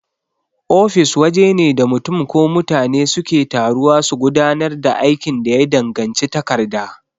Ofis wajene da mutun ko mutane suke taruwa su gudanar da aikin da ya danganci takarda.